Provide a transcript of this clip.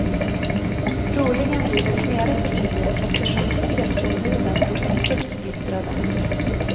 Troligen blir det flera partier eftersom kongressombuden är mycket splittrade.